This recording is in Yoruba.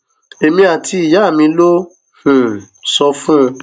èmi àti ìyá mi ló um sọ fún